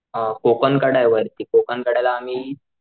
कोकण कड्यावरती कोकण कड्याला आम्ही,